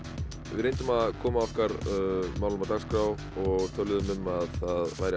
við reyndum að koma okkar málum á dagskrá og töluðum um að það væri